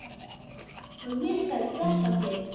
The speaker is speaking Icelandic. Og ég skal sleppa þér!